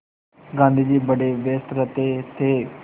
गाँधी जी बड़े व्यस्त रहते थे